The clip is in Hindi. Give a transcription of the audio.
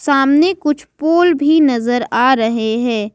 सामने कुछ पुल भी नजर आ रहे हैं।